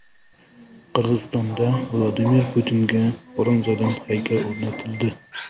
Qirg‘izistonda Vladimir Putinga bronzadan haykal o‘rnatildi .